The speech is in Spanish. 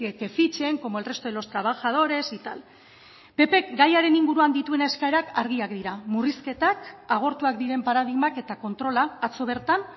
que fichen como el resto de los trabajadores y tal ppk gaiaren inguruan dituen eskaerak argiak dira murrizketak agortuak diren paradigmak eta kontrola atzo bertan